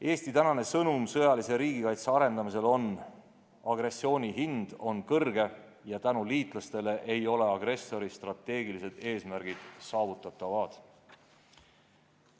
Eesti sõnum sõjalise riigikaitse arendamisel on: agressiooni hind on kõrge ja tänu liitlastele ei ole agressori strateegilised eesmärgid saavutatavad.